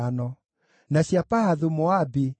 na cia Elamu ciarĩ 1,254,